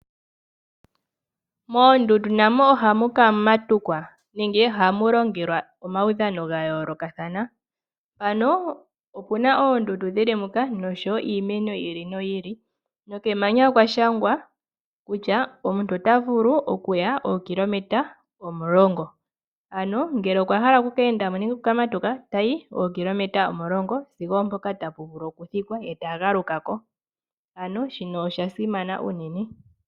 Moondundu namo ohamu ka matukwa nenge ohamu longelwa omaudhano ga yoolokathana. Ano opu na oondundu dhili muka noshowo iimeno yi ili noyi ili, nokemanya okwa shangwa kutya omuntu ota vulu oku ya ookilometa omulongo. Ano ngele okwa hala oku keendamonenge okuka matuka, otayi ookilometa omulongo sigo oompoka tapu vulu oku thikwa, ye ta galuka ko. Ano shino osha simana unene.